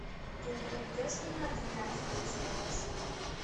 ты мне найдешь кино двенадцать друзей оушена